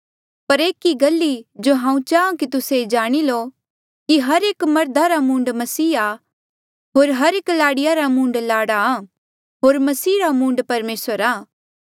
पर एक गल ई जो हांऊँ चाहां कि तुस्से ये जाणी लो कि हर एक मर्धा रा मूंड मसीह आ होर एक लाड़ीया रा मूंड लाड़ा होर मसीह रा मूंड परमेसर आ